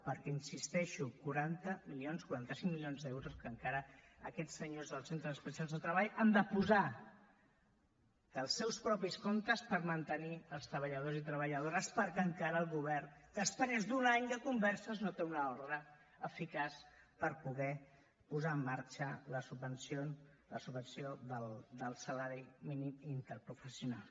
perquè hi insisteixo quaranta milions quaranta cinc milions d’euros que encara aquests senyors dels centres especials de treball han de posar dels seus propis comptes per mantenir els treballadors i treballadores perquè encara el govern després d’un any de converses no té una ordre eficaç per poder posar en marxa la subvenció del salari mínim interprofessional